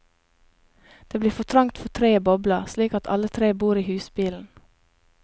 Det blir for trangt for tre i bobla, slik at alle tre bor i husbilen.